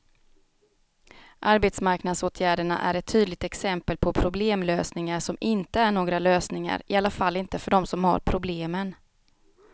Arbetsmarknadsåtgärderna är ett tydligt exempel på problemlösningar som inte är några lösningar, i alla fall inte för dem som har problemen.